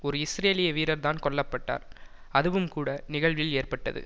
ஒரு இஸ்ரேலிய வீரர்தான் கொல்ல பட்டார் அதுவும் கூட நிகழ்வில் ஏற்பட்டது